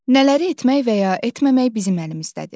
Nələri etmək və ya etməmək bizim əlimizdədir?